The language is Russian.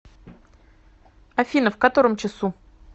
афина в котором часу